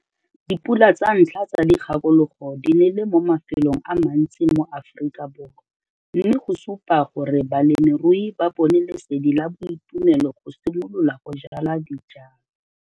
Dipula tsa ntlha tsa dikgakologo di nele mo mafelong a mantsi mo Afrikaborwa mme go supa gore balemirui ba bone lesedi la boitumelo go simolola go jala dijalo.